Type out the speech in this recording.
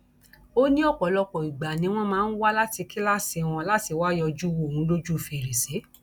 ó ní ọpọlọpọ ìgbà ni wọn máa ń wá láti kíláàsì wọn láti wáá yọjú wo òun lójú fèrèsé